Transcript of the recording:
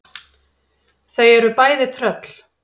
Þau eru bæði tröll.